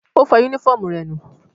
Ó fọ yúnífọ̀mù rẹ̀ nù